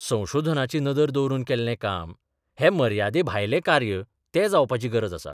संशोधनाची नदर दवरून केल्लें काम हें मर्यादेभायलें कार्य तें जावपाची गरज आसा.